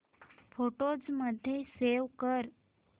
photos मध्ये save कर